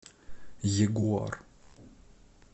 ягуар